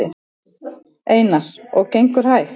Einar: Og gengur hægt?